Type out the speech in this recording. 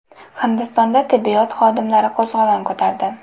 Hindistonda tibbiyot xodimlari qo‘zg‘olon ko‘tardi.